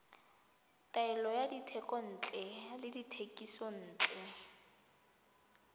taolo ya dithekontle le dithekisontle